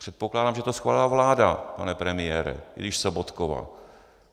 Předpokládám, že to schválila vláda, pane premiére, i když Sobotkova.